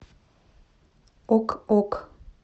ок ок